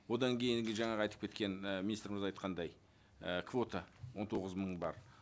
одан кейінгі жаңағы айтып кеткен і министріміз айтқандай і квота он тоғыз мың бар